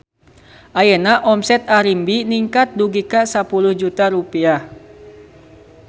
Ayeuna omset Arimbi ningkat dugi ka 10 juta rupiah